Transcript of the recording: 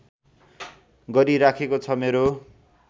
गरिराखेको छ मेरो